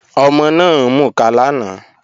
Ọmọ náà ń mukà lánàá